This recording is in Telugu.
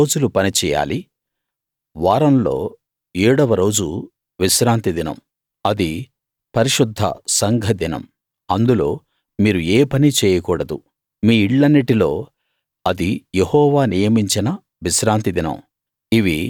ఆరు రోజులు పనిచెయ్యాలి వారంలో ఏడవ రోజు విశ్రాంతి దినం అది పరిశుద్ధ సంఘ దినం అందులో మీరు ఏ పనీ చేయకూడదు మీ ఇళ్ళన్నిటిలో అది యెహోవా నియమించిన విశ్రాంతి దినం